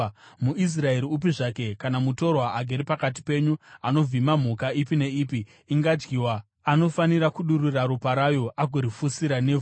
“ ‘MuIsraeri upi zvake kana mutorwa agere pakati penyu anovhima mhuka ipi neipi ingadyiwa, anofanira kudurura ropa rayo agorifushira nevhu,